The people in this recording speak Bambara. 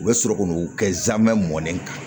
U bɛ sɔrɔ k'u kɛ zamɛ mɔnnen kan